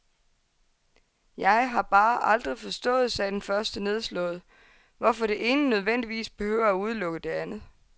Jeg har bare aldrig forstået, sagde den første nedslået, hvorfor det ene nødvendigvis behøver at udelukke det andet.